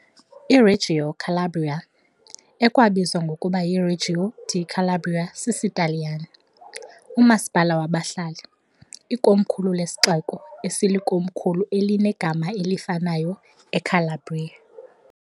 IReggio Calabria ekwabizwa ngokuba yiReggio di Calabria sisiTaliyane, umasipala wabahlali , ikomkhulu lesixeko esilikomkhulu elinegama elifanayo eCalabria.